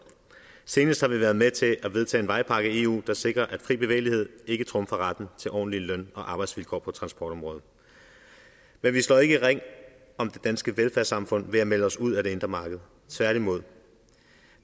senest har vi været med til at vedtage en vejpakke i eu der sikrer at fri bevægelighed ikke trumfer retten til ordentlige løn og arbejdsvilkår på transportområdet men vi slår ikke ring om det danske velfærdssamfund ved at melde os ud af det indre marked tværtimod